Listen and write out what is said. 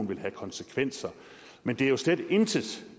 vil have konsekvenser men det er jo slet intet set